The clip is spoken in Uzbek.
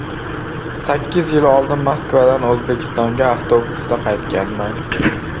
Sakkiz yil oldin Moskvadan O‘zbekistonga avtobusda qaytganman.